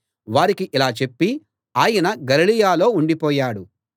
వారికి ఇలా చెప్పి ఆయన గలిలయలో ఉండిపోయాడు